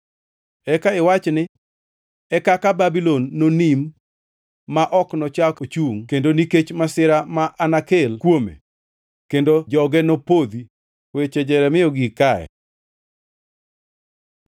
Eka iwachi ni, ‘E kaka Babulon nonim ma ok nochak ochungʼ kendo nikech masira ma anakel kuome. Kendo joge nopodhi.’ ” Weche Jeremia ogik kae.